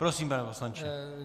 Prosím, pane poslanče.